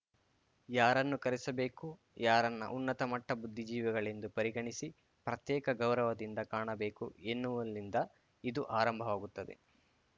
ಯಾರನ್ನು ಕರೆಸಬೇಕು ಯಾರನ್ನು ಉನ್ನತ ಮಟ್ಟ ಬುದ್ಧಿಜೀವಿಗಳೆಂದು ಪರಿಗಣಿಸಿ ಪ್ರತ್ಯೇಕ ಗೌರವದಿಂದ ಕಾಣಬೇಕು ಎನ್ನುವಲ್ಲಿಂದ ಇದು ಆರಂಭವಾಗುತ್ತದೆ